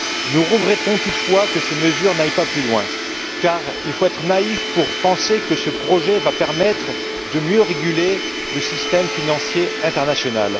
Nous regrettons toutefois qu'elles n'aillent pas plus loin, car il faut être naïf pour penser que ce projet permettra de mieux réguler le système financier international.